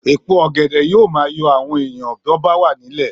Èpo ọ̀gẹ̀dẹ̀ yóò máa yọ àwọn èèyàn bó bá wà nílẹ̀